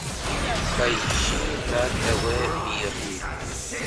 поищи на тв мир